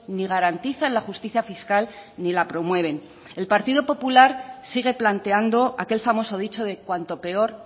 ni garantizan la justicia fiscal ni la promueven el partido popular sigue planteando aquel famoso dicho de cuanto peor